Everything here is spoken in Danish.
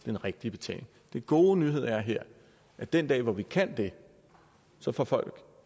den rigtige betaling den gode nyhed er her at den dag hvor vi kan det så får folk